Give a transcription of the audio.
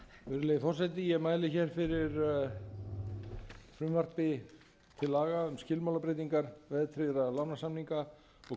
virðulegi forseti ég mæli hér fyrir frumvarpi til laga um skilmálabreytingar verðtryggðra lánasamninga og